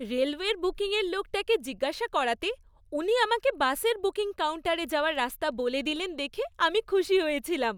রেলওয়ের বুকিংয়ের লোকটাকে জিজ্ঞাসা করাতে উনি আমাকে বাসের বুকিং কাউন্টারে যাওয়ার রাস্তা বলে দিলেন দেখে আমি খুশি হয়েছিলাম।